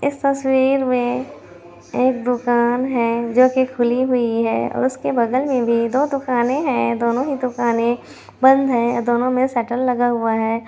इस तस्वीर में एक दुकान है जोकि खुली हुई है उसके बगल में भी दो दुकाने हैं दोनों ही दुकानें बंद हैं और दोनों में शटर लगाया हुआ है।